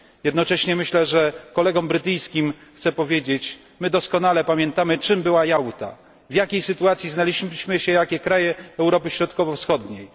Jednocześnie kolegom brytyjskim chcę powiedzieć my doskonale pamiętamy, czym była Jałta, w jakiej sytuacji znaleźliśmy się my kraje Europy Środkowo Wschodniej.